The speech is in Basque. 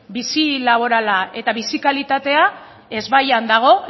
bizi laborala eta bizi kalitatea ezbaian dago